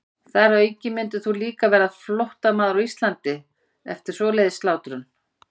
Þar að auki myndir þú líka verða flóttamaður á Íslandi eftir svoleiðis slátrun.